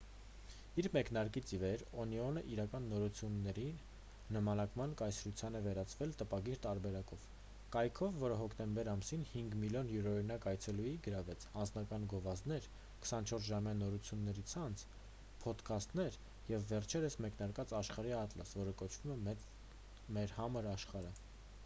իր մեկնարկից ի վեր օնիոնը իրական նորությունների նմանակման կայսրության է վերածվել տպագիր տարբերակով կայքով որը հոկտեմբեր ամսին 5,000,000 յուրօրինակ այցելուի գրավեց անձնական գովազդներ 24-ժամյա նորությունների ցանց պոդքաստներ և վերջերս մեկնարկած աշխարհի ատլաս որը կոչվում է մեր համր աշխարհը։